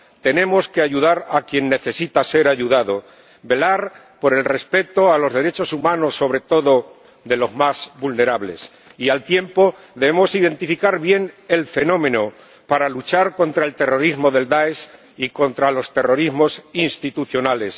Tenemos que ayudar a quien necesita ser ayudado, velar por el respeto de los derechos humanos, sobre todo de los más vulnerables, y, al tiempo, debemos identificar bien el fenómeno, para luchar contra el terrorismo de Daesh y contra los terrorismos institucionales.